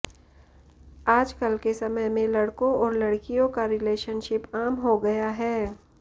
आज कल के समय में लड़कों और लड़कियों का रिलेशनशिप आम हो गया है